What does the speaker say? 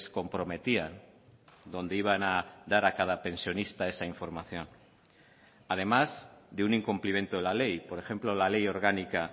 comprometían donde iban a dar a cada pensionista esa información además de un incumplimiento de la ley por ejemplo la ley orgánica